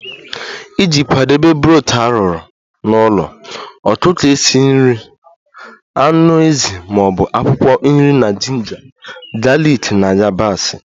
Iji kwadebe broth arụrụ n'ụlọ, ọkụkọ esi nri, anụ ezi ma ọ bụ akwụkwọ nri na jinja, galiki na yabasị